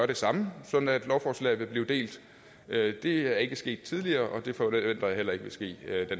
det sådan sådan at lovforslaget vil blive delt det det er ikke sket tidligere og det forventer jeg heller ikke vil ske